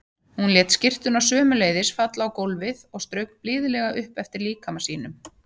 Hún lét skyrtuna sömuleiðis falla á gólfið og strauk blíðlega upp eftir líkama sínum.